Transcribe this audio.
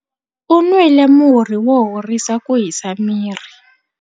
U nwile murhi wo horisa ku hisa miri.